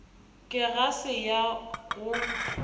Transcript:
ke ga se ya go